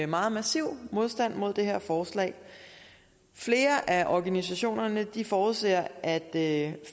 meget massiv modstand mod det her forslag flere af organisationerne forudser at